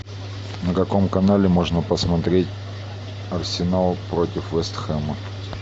на каком канале можно посмотреть арсенал против вест хэма